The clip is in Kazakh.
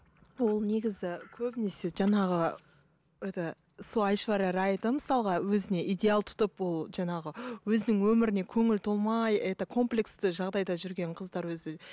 ол негізі көбінесе жаңағы это сол айшвария райды мысалға өзіне идеал тұтып ол жаңағы өзінің өміріне көңілі толмай это комплексті жағдайда жүрген қыздар өзі